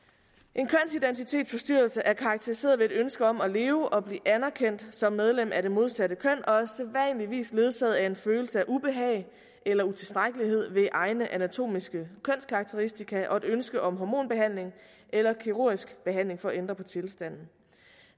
en kønsidentitetsforstyrrelse er karakteriseret ved et ønske om at leve og blive anerkendt som medlem af det modsatte køn og er sædvanligvis ledsaget af en følelse af ubehag eller utilstrækkelighed ved egne anatomiske kønskarakteristika og et ønske om hormonbehandling eller kirurgisk behandling for at ændre på tilstanden